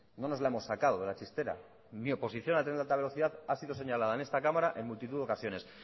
no nos la hemos sacado de la chistera mi oposición al tren de alta velocidad ha sido señalada en esta cámara en multitud de ocasiones